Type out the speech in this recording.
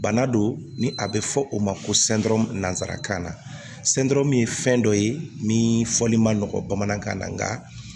Bana don ni a bɛ fɔ o ma ko nansarakan na ye fɛn dɔ ye min fɔli man nɔgɔ bamanankan na nka